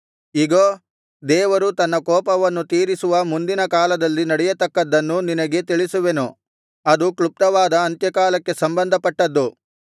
ಇಗೋ ದೇವರು ತನ್ನ ಕೋಪವನ್ನು ತೀರಿಸುವ ಮುಂದಿನ ಕಾಲದಲ್ಲಿ ನಡೆಯತಕ್ಕದ್ದನ್ನು ನಿನಗೆ ತಿಳಿಸುವೆನು ಅದು ಕ್ಲುಪ್ತವಾದ ಅಂತ್ಯಕಾಲಕ್ಕೆ ಸಂಬಂಧಪಟ್ಟದ್ದು